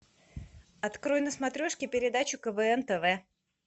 открой на смотрешке передачу квн тв